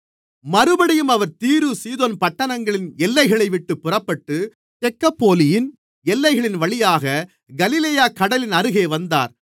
மறுபடியும் அவர் தீரு சீதோன் பட்டணங்களின் எல்லைகளைவிட்டுப் புறப்பட்டு தெக்கப்போலியின் எல்லைகளின்வழியாகக் கலிலேயாக்கடலின் அருகே வந்தார்